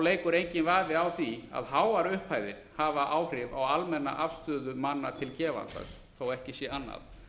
leikur enginn vafi á því að háar upphæðir hafa áhrif á almenna afstöðu manna til gefandans þó ekki sé annað